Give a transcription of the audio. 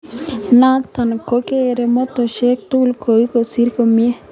Notok ko kere mastoshek cgu koai kasit komie.